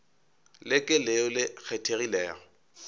le ke leo le kgethegilego